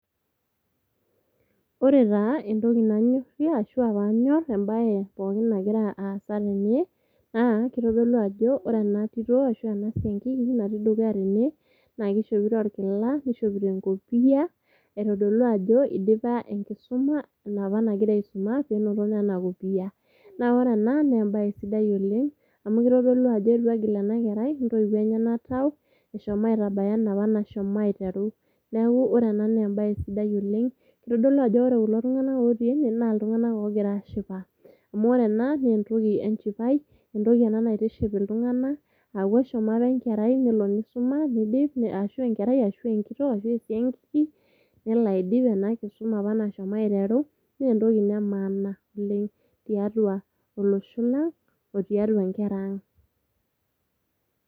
Ore taa entoki nanyorie ashuaa panyor entoki nagira aasa tene naa kitodolu ajo ore ena tito ashua ena siankiki natii dukuya tene naa kishopito orkila, nishopito enkopia aitodolu ajo indipa enkisuma ina apa nagira isuma penoto ena opiya. Naa ore ena naa embae sidai oleng amu kitodolu ajo eitu egil ena kerai intoiwuo enyenak tau ,eshomo aitabaya enapa nashomo aiteru . Niaku ore ena naa embae sidai oleng ,kitodolu ajo ore kulo tunganak otii ene naa iltunganak ogira ashipa. Amu ore ena naa entoki enchipai, entoki ena naitiship iltunganak ,aku eshomo apa enkerai nelo nisum nidip, ashuaa enkerai ,ashua enkitok ,ashuaa esiankiki , nelo aidip ena kisuma nashomo aiteru naa entoki ina emaana oleng tiatua olosho lang otiatua inkera ang.